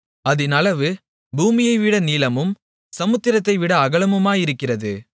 அதின் அளவு பூமியைவிட நீளமும் சமுத்திரத்தைவிட அகலமுமாயிருக்கிறது